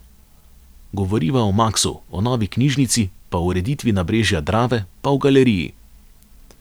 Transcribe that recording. Govoriva o Maksu, o novi knjižnici, pa o ureditvi nabrežja Drave, pa o galeriji.